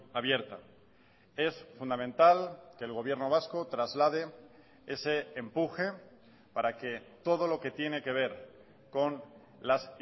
abierta es fundamental que el gobierno vasco traslade ese empuje para que todo lo que tiene que ver con las